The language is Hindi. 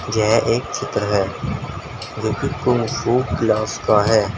यह एक चित्र है जो कि कुंग फू क्लास का है।